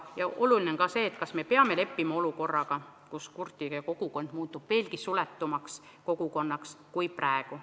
Oluline on ka see, kas me peame leppima olukorraga, kus kurtide kogukond muutub veelgi suletumaks kogukonnaks kui praegu.